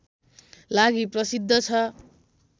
लागि प्रसिद्ध छ